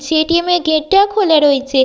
সে ATM. এর gate -টাও খোলা রয়েছে।